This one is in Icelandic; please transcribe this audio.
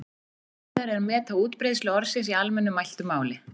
Erfiðara er að meta útbreiðslu orðsins í almennu mæltu máli.